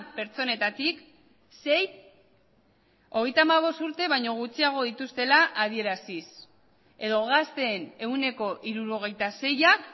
pertsonetatik sei hogeita hamabost urte baino gutxiago dituztela adieraziz edo gazteen ehuneko hirurogeita seiak